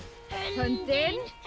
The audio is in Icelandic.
höndin